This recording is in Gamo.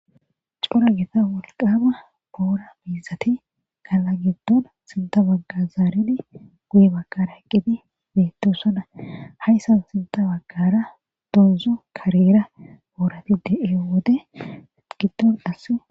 Corra gitta woliqama bora mizati ketha gidon sintha gede zaridi guye baggara eqid betosona hassa sintha bagara doa karera borati deyiya wode gidon qassi